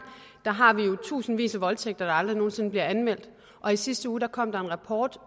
har vi jo tusindvis af voldtægter der aldrig nogen sinde bliver anmeldt og i sidste uge kom der en rapport